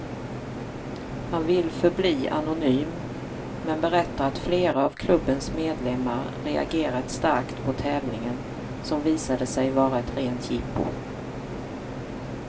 Han vill förbli anonym, men berättar att flera av klubbens medlemmar reagerat starkt på tävlingen, som visade sig var ett rent jippo.